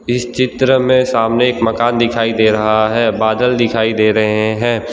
इस चित्र में सामने एक मकान दिखाई दे रहा है बादल दिखाई दे रहे हैं।